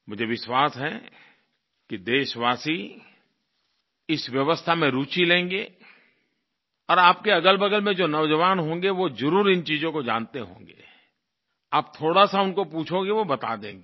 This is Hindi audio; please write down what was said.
मुझे विश्वास है कि देशवासी इस व्यवस्था में रुचि लेंगे और आपके अगलबगल में जो नौजवान होंगे वो ज़रूर इन चीज़ों को जानते होंगे आप थोड़ा सा उनको पूछोगे वो बता देंगे